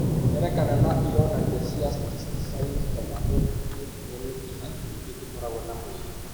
Ngerekano na ironania cia steatocystoma multiplex nĩ ta mĩkiha mĩingĩ ĩkoragwo na mwĩrĩ.